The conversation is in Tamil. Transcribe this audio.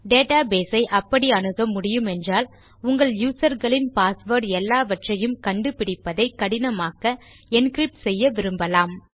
டேட்டா பேஸ் ஐ அப்படி அணுக முடியுமென்றால் உங்கள் யூசர் களின் பாஸ்வேர்ட் எல்லாவற்றையும் கண்டுபிடிப்பதை கடினமாக்க என்கிரிப்ட் செய்ய விரும்பலாம்